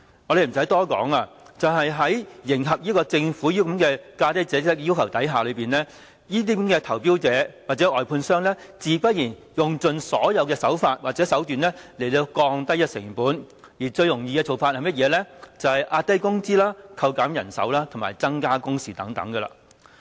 無須多說，為迎合政府這個"價低者得"的要求，這些投標者或外判商，自然用盡所有手段來降低成本，最容易的做法就是壓低工資、扣減人手和增加工時等。